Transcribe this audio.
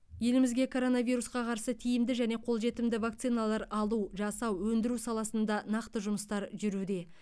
елімізге коронавирусқа қарсы тиімді және қолжетімді вакциналар алу жасау өндіру саласында нақты жұмыстар жүруде